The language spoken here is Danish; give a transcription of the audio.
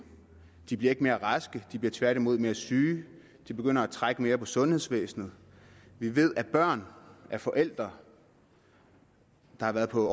de bliver ikke mere raske men de bliver tværtimod mere syge og de begynder at trække mere på sundhedsvæsenet vi ved at børn af forældre der har været på